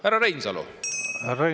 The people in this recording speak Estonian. Härra Reinsalu!